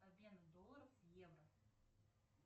обмен долларов в евро